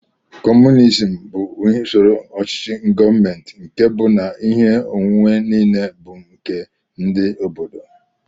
Communizim bụ usoro ochichi gọọmenti nkè bú na ihe onwunwe niile bu nke ndị obodo.